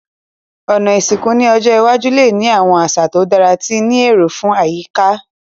Òná ìsìnkú ni ọjọ́ iwájú le ni àwon àsà to dára ti ni éró fun àyíká